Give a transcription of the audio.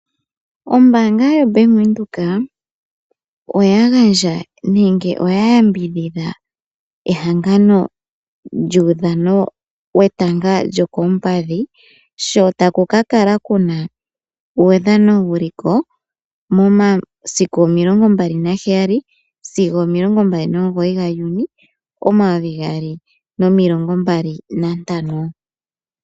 Ombanga yo Bank Widheok, oya gandja nenge oya yambidhidha ehangano lyetanga lyokopadhi sho takukakala kuna uudhano wuliko momasiku 27 sigo 29 nga Juni 2025